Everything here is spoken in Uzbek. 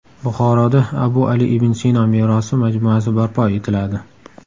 Buxoroda Abu Ali ibn Sino merosi majmuasi barpo etiladi.